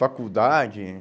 Faculdade.